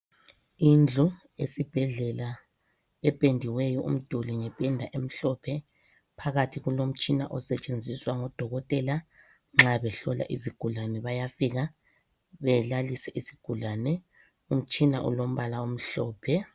Indlu esibhedlela ependiweyo umduli ngependa emhlophe, phakathi kulomtshina osetshenziswa ngodokotela nxabehlola izigulane bayafika belalise izigulane , umtshina ulombala omhlophe.